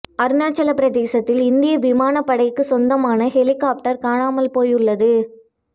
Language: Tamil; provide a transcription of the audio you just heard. அருணாச்சல பிரதேசத்தில் இந்திய விமானப் படைக்குச் சொந்தமான ஹெலிகொப்டர் காணாமல் போயுள்ளது